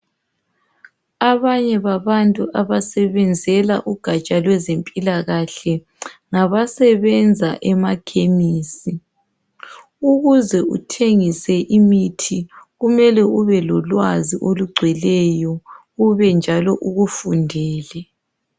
Abanye babantu abasebenzela ugatsha lwezempilakahle ngabasebenza emakhemisi ,ukuze uthengise imithi kumele ubelolwazi olugcweleyo ubenjalo ukufundele.